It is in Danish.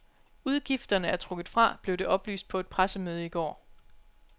Udgifterne er trukket fra, blev det oplyst på et pressemøde i går.